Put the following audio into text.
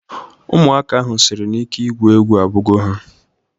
Ụmụaka ahụ sịrị na ike igwu egwu agwugo ha